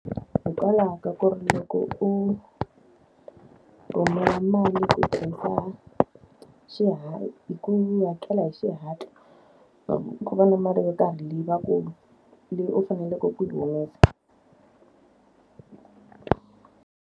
Hikwalaho ka ku ri loko u rhumela mali ku hi ku hakela hi xihatla, ku va na mali yo karhi leyi va ku leyi u faneleke ku yi humesa.